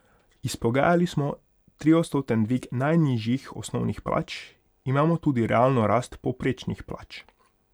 Izpogajali smo triodstoten dvig najnižjih osnovnih plač, imamo tudi realno rast povprečnih plač.